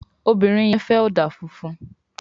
Obìrin yen fè òdà fúnfún